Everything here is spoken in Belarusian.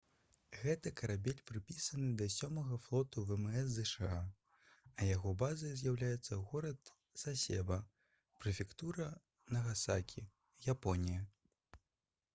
гэты карабель прыпісаны да сёмага флоту вмс зша а яго базай з'яўляецца горад сасеба прэфектура нагасакі японія